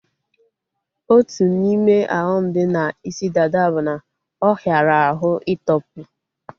Otu n'ime ọghọm dị na isi dada bụ na ọ hiara ahụ ị tọpu